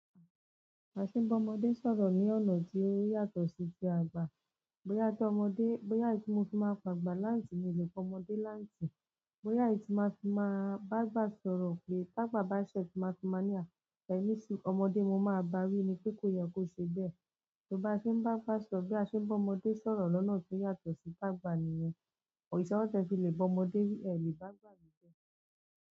A sì ń bá ọmọdé sọ̀rọ̀ ní ọ̀nà tí ó yàtọ̀ sí ti àgbà. Bóyá tí ọmọdé, bóyá tí mo fi máa pe àgbà ni aunti, mi o le pe ọmọdé ni áunti, bóyá tí máa fi máa bá agba sọ̀rọ̀ pé tagbà ṣẹ tí máa fi máa ní à e ni suru, ọmọdé mo máa bá wí ni pé kó ye kó ṣe bẹ́ẹ̀. Torí bá ṣe ń bá agba sọ̀rọ̀ bí a ṣe ń bá ọmọdé sọ̀rọ̀ lọ́nà tí ó yàtọ̀ sí ti àgbà nìyẹn. Òrisi oro ti e fi lè ba ọmọdé wí ẹ̀ o le ba ágbà wí bẹ́ẹ̀.